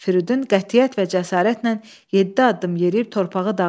Firidun qətiyyət və cəsarətlə yeddi addım yeriyib torpağı dağıtdı.